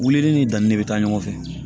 Wulili ni danni de bɛ taa ɲɔgɔn fɛ